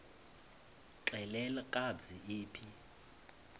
xelel kabs iphi